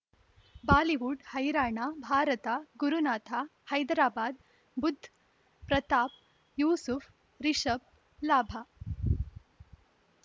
Bollywood ಹೈರಾಣ ಭಾರತ ಗುರುನಾಥ ಹೈದರಾಬಾದ್ ಬುಧ್ ಪ್ರತಾಪ್ ಯೂಸುಫ್ ರಿಷಬ್ ಲಾಭ